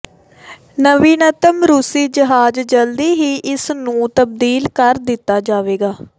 ਨਵੀਨਤਮ ਰੂਸੀ ਜਹਾਜ਼ ਜਲਦੀ ਹੀ ਇਸ ਨੂੰ ਤਬਦੀਲ ਕਰ ਦਿੱਤਾ ਜਾਵੇਗਾ